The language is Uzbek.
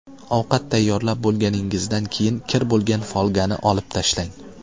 Ovqat tayyorlab bo‘lganingizdan keyin kir bo‘lgan folgani olib tashlang.